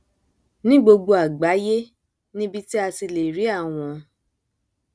ní gbogbo àgbáyé níbi tí a ti lè rí àwọn